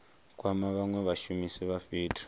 kwama vhanwe vhashumisi vha fhethu